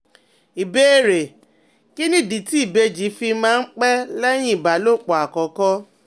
Ìbéèrè: Kí nìdí tí ìbejì fi máa ń pẹ́ lẹ́yìn ìbálòpọ̀ àkọ́kọ́?